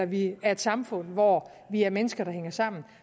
vi er et samfund hvor vi er mennesker der hænger sammen